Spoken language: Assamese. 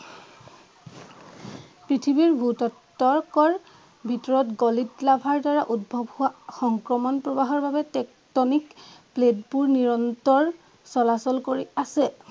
পৃথিৱীৰ ভূ-তত্ত্বকৰ ভিতৰত গলিত লাভাৰ দ্বাৰা উদ্ভৱ হোৱা সংক্ৰমণ প্ৰৱাহৰ বাবে টেকটনিক প্লেট বোৰ নিৰন্তৰ চলাচল কৰি আছে।